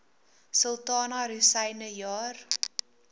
sultana rosyne jaar